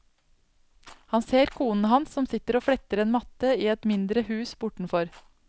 Han ser konen hans som sitter og fletter en matte i et mindre hus bortenfor.